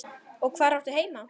Og hvar áttu heima?